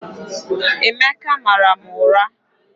Emeka mara m ụra